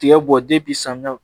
Tiga bɔ samiya